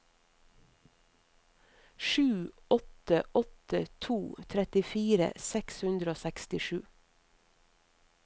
sju åtte åtte to trettifire seks hundre og sekstisju